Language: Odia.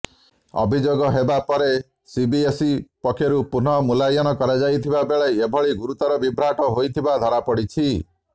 ଅଭିଯୋଗ ହେବା ପରେ ସିବିଏସଇ ପକ୍ଷରୁ ପୁନଃମୂଲ୍ୟାୟନ କରାଯାଇଥିବା ବେଳେ ଏଭଳି ଗୁରୁତର ବିଭ୍ରାଟ ହୋଇଥିବା ଧରାପଡ଼ିଛି